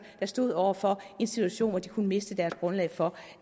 der stod over for en situation hvor de kunne miste deres grundlag for